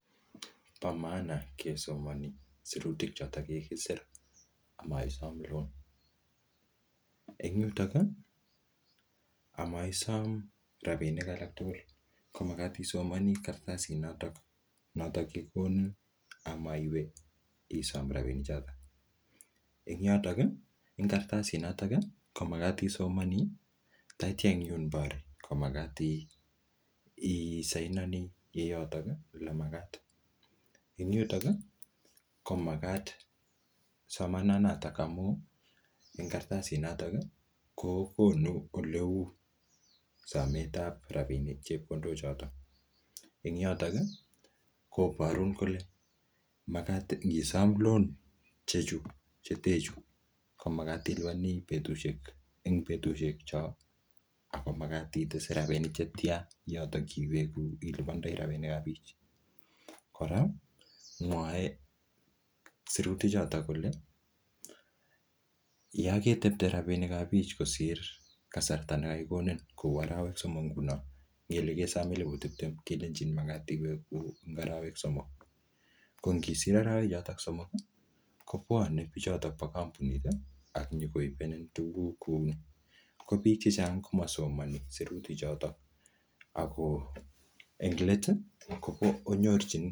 Bo maana kesomani sirutik chotok kikisir amaisom loan. Eng yutok, amaisom rabinik alak tugul, ko magat isomani kartasit notok-notok kikikonin amaiwe isom rabinik chotok. Ing yotok, eng kartasit notok, ko magat isomani, tatyaa eng yun bore, ko magat isianani ye yotok le magat. Ing yutok, ko magat somanan natak amu, ing kartasit natak, kokonu ole uu samet ap rabinik chepkondok chotok. Eng yotok koborun kole magat ngisom loan che chuu, chete chuuu, ko magat ilipani betusiek, eng betusiek choo, ago magat itese rabinik chetia yotok iwegu ilipandoi rabinik ap pich. Kora, mwae sirutik chotok kole, yaketepte rabinik ap pich kosir kasarta ne kakikonin kou arawek somok nguno. Ngele kesom elepu tiptem kelenjin magat iwegu eng arawek somok. Ko ngisir arawek chotok somok, kobwane bichotok po kampunit, ak nyikoibenin tuguk kouni. Ko biik chechang, komasomani sirutik chotok. Ago eng let, konyorchin